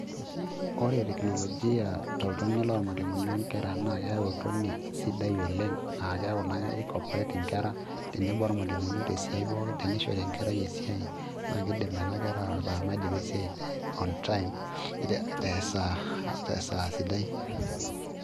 Ore teknolojia toltonei lolmalimuni onkera naa ketau oltonei sidai oleng' aah keeku naa ki cooperate inkera, tenebo ormalimuni tesiai pookin. Ah keeku tenishori enkerai esiai, na kiidim nena nkera ataa maidipa esiai on time ,tesaa sidai.